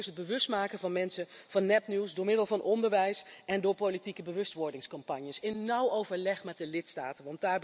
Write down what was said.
Natuurlijk allereerst het bewustmaken van mensen van nepnieuws door middel van onderwijs en door politieke bewustwordingscampagnes, in nauw overleg met de lidstaten.